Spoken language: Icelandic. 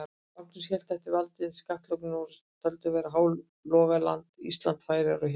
Magnús hélt eftir valdi yfir skattlöndum Noregs, sem töldust vera Hálogaland, Ísland, Færeyjar og Hjaltland.